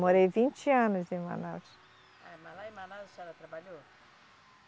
Morei vinte anos em Manaus. Eh, mas lá em Manaus a senhora trabalhou?